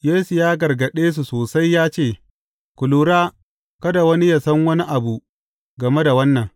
Yesu ya gargaɗe su sosai ya ce, Ku lura kada wani yă san wani abu game da wannan.